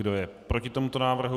Kdo je proti tomuto návrhu?